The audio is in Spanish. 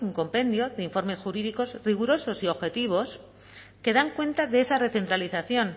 compendio de informes jurídicos rigurosos y objetivos que dan cuenta de esa recentralización